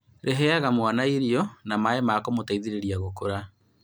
Rĩheaga mwana irio na maĩ ma kũmũteithĩrĩria gũkũra